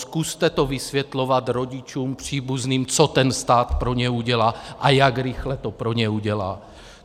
Zkuste to vysvětlovat rodičům, příbuzným, co ten stát pro ně udělá a jak rychle to pro ně udělá.